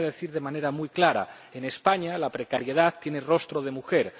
Lo voy a decir de manera muy clara en España, la precariedad tiene rostro de mujer